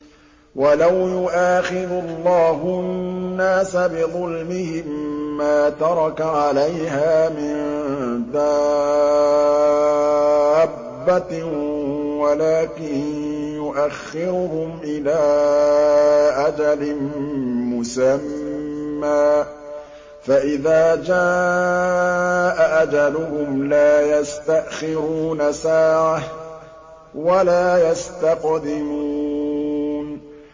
وَلَوْ يُؤَاخِذُ اللَّهُ النَّاسَ بِظُلْمِهِم مَّا تَرَكَ عَلَيْهَا مِن دَابَّةٍ وَلَٰكِن يُؤَخِّرُهُمْ إِلَىٰ أَجَلٍ مُّسَمًّى ۖ فَإِذَا جَاءَ أَجَلُهُمْ لَا يَسْتَأْخِرُونَ سَاعَةً ۖ وَلَا يَسْتَقْدِمُونَ